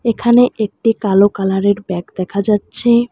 এখানে একটি কালো কালার -এর ব্যাগ দেখা যাচ্ছে।